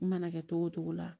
N mana kɛ togo o togo la